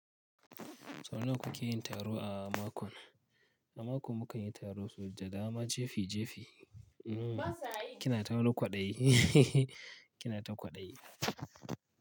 Sau nawa ku ke yin taro a mako? A mako mu kan yi taro sau da dama jefi jefi. Kina ta wani kwaɗayi kina ta kwaɗayi.